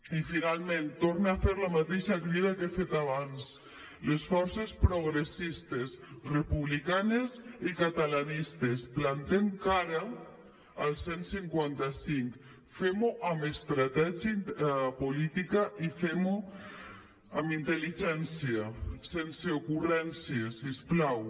i finalment torne a fer la mateixa crida que he fet abans les forces progressistes republicanes i catalanistes plantem cara al cent i cinquanta cinc fem·ho amb estratègia política i fem·ho amb intel·ligència sense ocurrències si us plau